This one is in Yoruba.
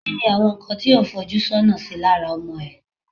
ki ni àwọn nkan tí o un foju sona sí lára ọmọ e